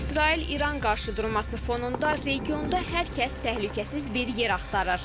İsrail-İran qarşıdurması fonunda regionda hər kəs təhlükəsiz bir yer axtarır.